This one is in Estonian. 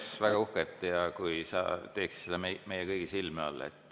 Me oleks väga uhked, kui sa teeksid seda meie kõigi silme all.